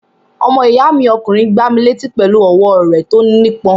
Ọmọ ìyá mi ọkùnrin gbá mi létí pẹ̀lú ọwọ́ rẹ̀ tó nípọn.